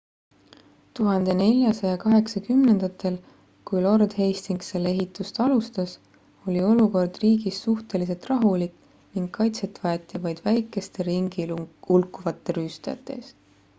1480ndatel kui lord hastings selle ehitust alustas oli olukord riigis suhteliselt rahulik ning kaitset vajati vaid väikeste ringi hulkuvate rüüstajate eest